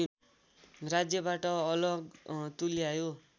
राज्यबाट अलग तुल्यायो